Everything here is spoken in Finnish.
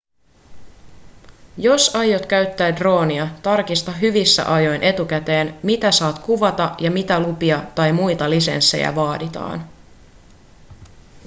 jos aiot käyttää droonia tarkista hyvissä ajoin etukäteen mitä saat kuvata ja mitä lupia tai muita lisenssejä vaaditaan